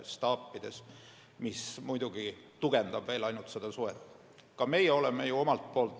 See muidugi ainult tugevdab seda suhet.